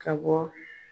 Ka bɔ